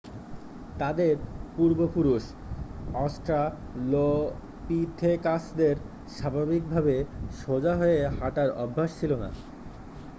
তাদের পূর্বপুরুষ অস্ট্রালোপিথেকাসদের স্বাভাবিকভাবে সোজা হয়ে হাঁটার অভ্যাস ছিল না